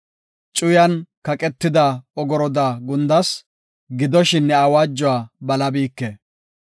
Cuyan kaqetida ogoroda gundas; gidoshin ne awaajuwa balabiike.